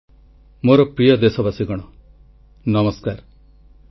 • ଗଣତନ୍ତ୍ରକୁ ସୁଦୃଢ଼ କରିବାରେ ନିର୍ବାଚନ ଆୟୋଗଙ୍କ ଭୂମିକା ମହତ୍ୱପୂର୍ଣ୍ଣ